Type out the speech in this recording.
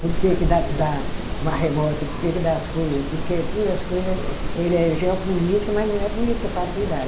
Por que que dá dá maremoto, por que que dá as coisa, porque tudo as coisa. Ele é geopolítica, mas não é política partidária.